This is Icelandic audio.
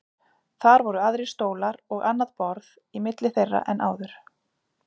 Þar voru aðrir stólar og annað borð í milli þeirra en áður.